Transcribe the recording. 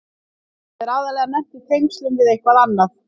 Það er aðallega nefnt í tengslum við eitthvað annað.